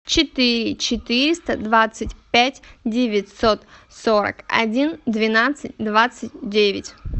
четыре четыреста двадцать пять девятьсот сорок один двенадцать двадцать девять